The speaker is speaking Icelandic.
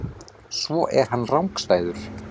Svo er hann rangstæður.